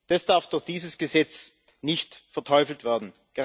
Das darf durch dieses Gesetz nicht verteufelt werden.